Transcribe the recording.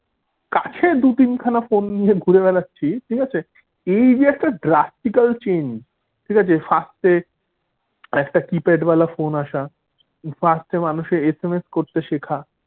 কাছে দু তিনখানা ফোন নিয়ে ঘুরে বেড়াচ্ছে ঠিক আছে এই যে একটা drastical change ঠিক আছে, first এ একটা keypad ওয়ালা ফোন আশা, first এ মানুষের SMS করতে শেখা।